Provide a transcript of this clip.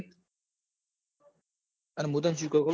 પણ મુ તન શું કવ ખબર હ